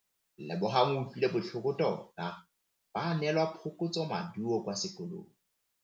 Lebogang o utlwile botlhoko tota fa a neelwa phokotsômaduô kwa sekolong.